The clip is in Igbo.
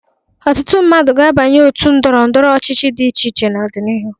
Ọtụtụ mmadụ ga-abanye òtù ndọrọ ndọrọ ọchịchị dị iche iche n'ọdịnihu.